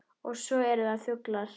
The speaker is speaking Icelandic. Og svo eru það fuglar